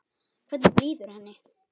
Hvernig líður henni?